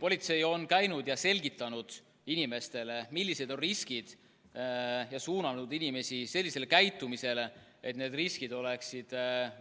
Politsei on käinud ja selgitanud inimestele, millised on riskid, ja suunanud inimesi selliselt käituma, et need riskid oleksid